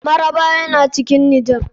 Mararaba yana cikin nijar.